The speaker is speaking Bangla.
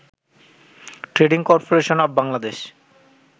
trading corporation of Bangladesh